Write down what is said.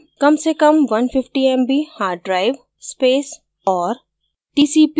कम से कम 150 mb hard drive space और